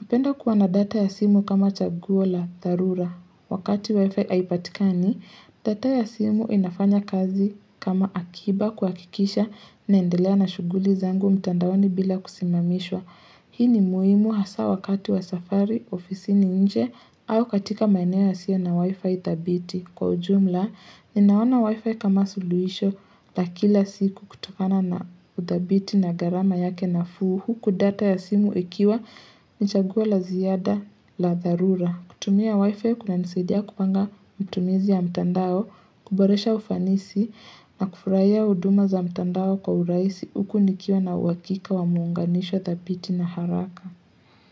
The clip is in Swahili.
napenda kuwa na data ya simu kama chaguo la tharura. Wakati wifi haipatikani, data ya simu inafanya kazi kama akiba kuhakikisha naendelea na shuguli zangu mtandaoni bila kusimamishwa. Hii ni muhimu hasaa wakati wa safari ofisini nje au katika maeneo yasio na wifi thabiti. Kwa ujumla, ninaona wifi kama suluhisho la kila siku kutokana na uthabiti na gharama yake nafuu huku data ya simu ikiwa ni chagua la ziada la dharura. Kutumia wifi kunanisadia kupanga matumizi ya mtandao, kuboresha ufanisi na kufurahia huduma za mtandao kwa urahisi huku nikiwa na uhakika wa muunganishwo thabiti na haraka.